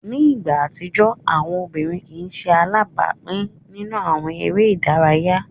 Ni igba atijọ, awọn obirin kii ṣe alabapin ninu awọn ere idaraya.